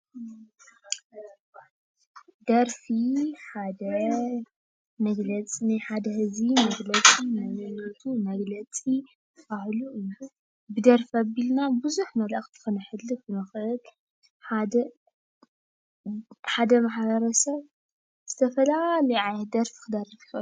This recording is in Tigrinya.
ደርፊ ሓደ መግለፂ ናይ ሓደ ህዝቢ መንነቱ መግለጺ ፣ባህሉ እዩ። ብደርፊ ኣቢልና ብዙሕ መልእኽቲ ክነሕልፍ ንኽእል። ሓደ ማሕበረሰብ ዝተፈላለየ ዓይነት ደርፊ ክደርፍ ይኽእል እዩ።